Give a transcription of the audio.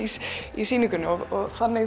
í sýningunni og þannig